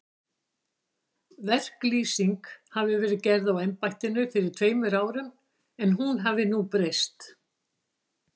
Verklýsing hafi verið gerð á embættinu fyrir tveimur árum, en hún hafi nú breyst.